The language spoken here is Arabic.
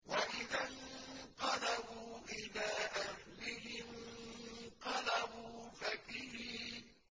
وَإِذَا انقَلَبُوا إِلَىٰ أَهْلِهِمُ انقَلَبُوا فَكِهِينَ